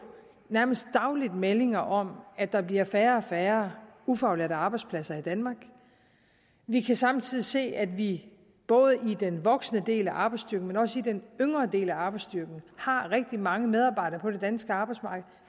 nærmest dagligt meldinger om at der bliver færre og færre ufaglærte arbejdspladser i danmark vi kan samtidig se at vi både i den voksne del af arbejdsstyrken og også i den yngre del af arbejdsstyrken har rigtig mange medarbejdere på det danske arbejdsmarked